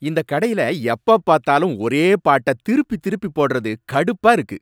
இந்த கடையில எப்ப பார்த்தாலும் ஒரே பாட்ட திருப்பி திருப்பி போடறது கடுப்பா இருக்கு.